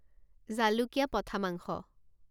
জালুকীয়া পঠা মাংস